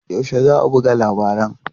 Yaushe za a buga labaran?